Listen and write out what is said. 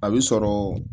A bi sɔrɔ